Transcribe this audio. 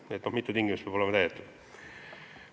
Nii et mitu tingimust peab olema täidetud.